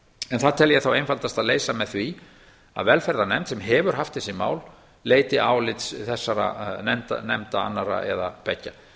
en það tel ég þá einfaldast að leysa með því að velferðarnefnd sem hefur haft þessi mál leiti álits þessara nefnda annarra eða beggja